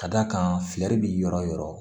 Ka d'a kan bi yɔrɔ o yɔrɔ